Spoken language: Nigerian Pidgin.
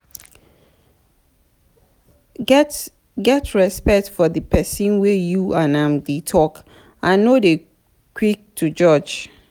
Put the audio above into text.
get respect for di person wey you and am dey talk and no dey quick to judge